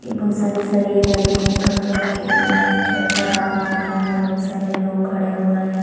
ये बहुत सारे सरिए लगे है खम्बे लगे है यह छत्त का काम हो रहा है बहुत सारे लोग खड़े हुए है।